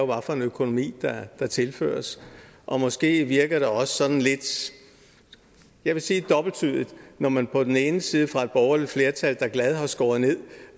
for en økonomi der tilføres og måske virker det også sådan lidt jeg vil sige dobbelttydigt når man på den ene side fra et borgerligt flertal der glad har skåret ned